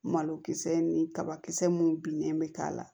Malokisɛ ni kabakisɛ mun binnen bɛ k'a la